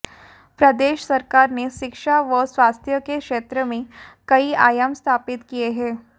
प्रदेश सरकार ने शिक्षा व स्वास्थ्य के क्षेत्र में कई आयाम स्थापित किए हैं